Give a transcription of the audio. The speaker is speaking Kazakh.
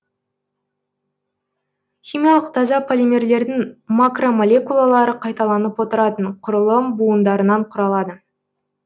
химиялық таза полимерлердің макромолекулалары қайталанып отыратын құрылым буындарынан құралады